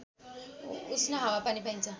उष्ण हावापानी पाइन्छ